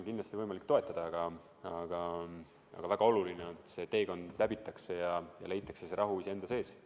Kindlasti on võimalik toetada, aga väga oluline on, et see teekond läbitakse ja leitakse rahu iseenda sees.